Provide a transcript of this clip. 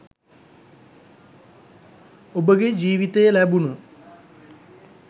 ඔබගේ ජීවිතයේ ලැබුණු